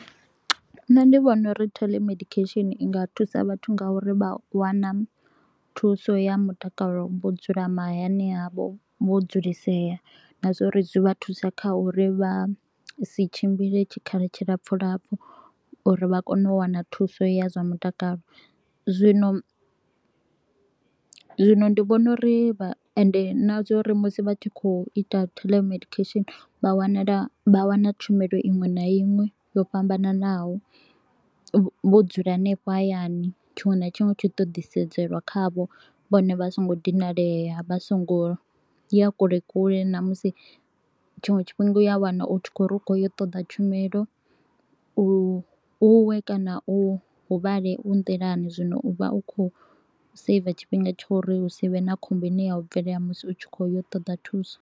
Nṋe ndi vhona uri toll ya medication i nga thusa vhathu nga uri vha wana thuso ya mutakalo vho dzula mahayani havho, vho dzulisea na zwa uri zwi vha thusa kha uri vha si tshimbile tshikhala tshilapfu lapfu. Uri vha kone u wana thuso ya zwa mutakalo, zwino zwino ndi vhona uri vha ende na zwa uri musi vha tshi kho u ita toll ya medication. Vha wanala vha wana tshumelo iṅwe na iṅwe yo fhambananaho vho dzula henefho hayani tshiṅwe na tshiṅwe tshi to u ḓisedzelwa khavho, vhone vha so ngo dinalea, vha so ngo ya kule kule na musi tshiṅwe tshifhinga u ya wana u kho u ri u kho u ya u ṱoḓa tshumelo u u we kana u huvhale u nḓilani. Zwino u vha u kho u saver tshifhinga tsha uri hu si vhe na khombo i ne ya u bvelela musi u tshi kho u ya u ṱoḓa thuso.